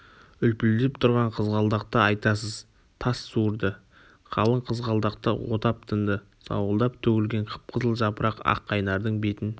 үлпілдеп тұрған қызғалдақты айтасыз тас суырды қалың қызғалдақты отап тынды сауылдап төгілген қып-қызыл жапырақ аққайнардың бетін